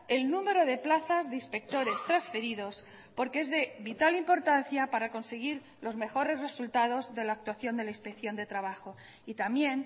el número de plazas de inspectores transferidos porque es de vital importancia para conseguir los mejores resultados de la actuación de la inspección de trabajo y también